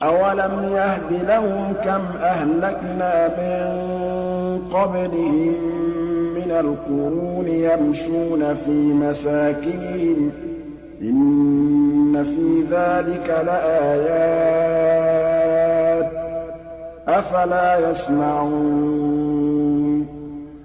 أَوَلَمْ يَهْدِ لَهُمْ كَمْ أَهْلَكْنَا مِن قَبْلِهِم مِّنَ الْقُرُونِ يَمْشُونَ فِي مَسَاكِنِهِمْ ۚ إِنَّ فِي ذَٰلِكَ لَآيَاتٍ ۖ أَفَلَا يَسْمَعُونَ